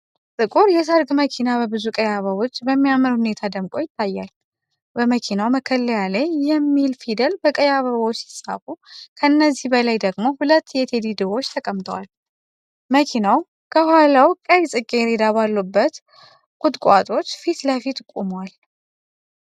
ጥቁር የሰርግ መኪና በብዙ ቀይ አበባዎች በሚያምር ሁኔታ ደምቆ ይታያል። በመኪናው መከለያ ላይ "LOVE" የሚል ፊደል በቀይ አበባዎች ሲጻፍ፣ ከነዚህ በላይ ደግሞ ሁለት የቴዲ ድቦች ተቀምጠዋል። መኪናው ከኋላው ቀይ ጽጌረዳ ባሉበት ቁጥቋጦዎች ፊት ለፊት ቆሟል።